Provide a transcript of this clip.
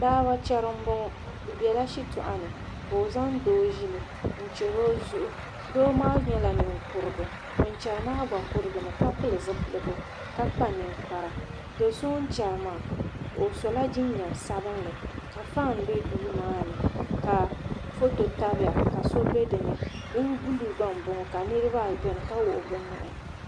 Baaba chɛri n boŋo bi biɛla shitoɣu ni ka o zaŋ doo ʒili n chɛri o zuɣu doo maa nyɛla ninkurigu ŋun chɛri maa gba kurigimi ka pili zipiligu ka kpa ninkpara do so o ni chɛri maa o sola jinjɛm sabinli ka fan bɛ duu maa ni ka foto tabiya ka so bɛ dinni bin buluu gba n boŋo ka niraba ayi bɛ dinni ka wuɣi bi nuhi